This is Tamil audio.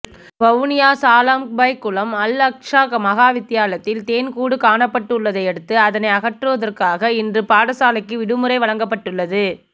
வவுனியா சாளம்பைக்குளம் அல் அக் ஷா மகாவித்தியாலயத்தில் தேன் கூடு காணப்பட்டுள்ளதையடுத்து அதனை அகற்றுவதற்காக இன்று பாடசாலைக்கு விடுமுறை வழங்கப்பட்டுள்ளது